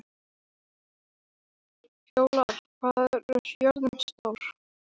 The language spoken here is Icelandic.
Fjólar, hvað er jörðin stór?